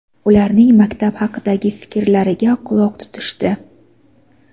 ularning maktab haqidagi fikrlariga quloq tutishdi.